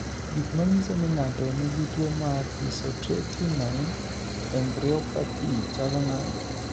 Gik manyiso ni ng'ato nigi tuwo mar Isotretinoin embryopathy chalo nade?